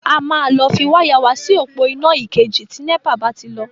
A máa lọ fi wáyà wa si òpó iná ìkejì tí NEPA bá ti lọ.